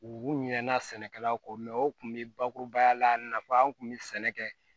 U ɲɛna sɛnɛkɛlaw kɔ o tun bɛ bakurubaya la nafa an kun bɛ sɛnɛ kɛ